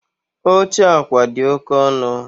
Oche akwa dị oke ọnụ